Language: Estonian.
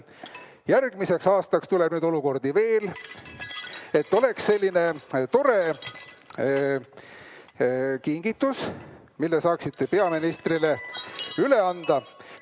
Järgmisel aastal tuleb neid olukordi veel ja selleks on selline tore kingitus, mille saate peaministrile üle anda.